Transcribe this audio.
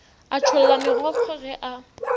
a tšholla megokgo ge a